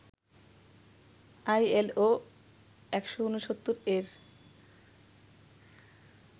ILO ১৬৯ এর